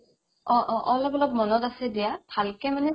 অ অ অ অলপ অলপ মনত আছে দিয়া ভালকে মানে